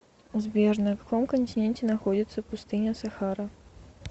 сбер на каком континенте находится пустыня сахара